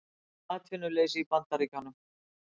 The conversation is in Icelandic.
Aukið atvinnuleysi í Bandaríkjunum